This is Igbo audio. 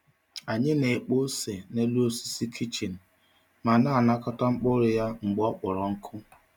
Anyị na-ekpo ose n’elu osisi kichin ma na-anakọta mkpụrụ ya mgbe ọ kpọrọ nkụ.